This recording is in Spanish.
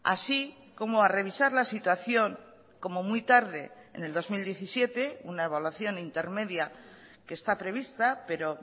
así como a revisar la situación como muy tarde en el dos mil diecisiete una evaluación intermedia que está prevista pero